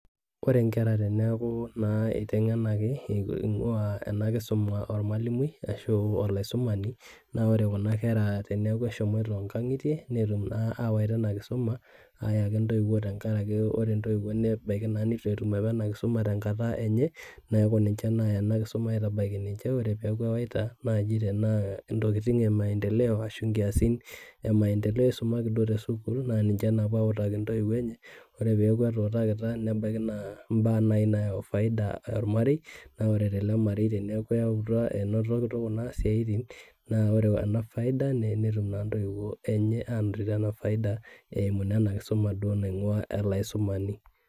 koree naa inkera peeaku kitengenaki ingua enaa kisuma ormwalimui arasho olaisumani naa koree kuna kera teneaku eshomoita nkangitie neetum naa awaita ena kisuma ayaki inntoiwo tengaraki oree intoiwuo nebaiki nitu apaa etum ina kisumaa te nkata enye niaku nichee naaya ena kisuma aiatabaiki ninche koree peaku ewaita naaji tenaa intokiting ee maendeleo arasho inkiasin e maendeleo isumaki duo te school niche napuo awutaki intoiwuo enye koree peiaku etutakitia nebaiki naai na baa nayau faida ormarei naa koree tele marei teniaku naa enotoki isiatin naa koree ena faida neetum na intoiwuo enye ena faida eimuua ele aisumani